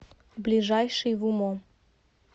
ближайший вумо